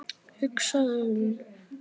hugsaði hún.